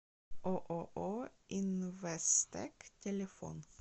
ооо инвесттэк телефон